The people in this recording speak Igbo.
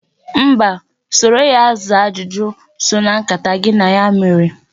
Mba, soro ya zaa ajụjụ so na nkata gị na ya mere.